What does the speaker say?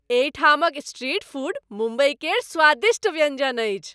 एहिठामक street food Mumbai केर स्वादिष्ट व्यञ्जन अछि।